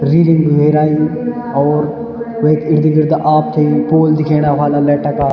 रीडिंग वे राई और वेक इर्द गिर्द आपथे यु पोल दिखेणा ह्वाला लैट का।